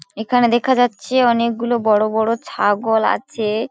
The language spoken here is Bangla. এখানে দেখা যাচ্ছে অনেকগুলো বড় বড় ছাগল আছে।